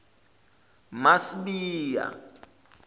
masibiya